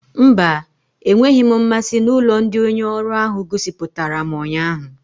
Mba, enweghị m mmasị na ụlọ ndị onye ọrụ ahụ gosipụtara m ụnyaahụ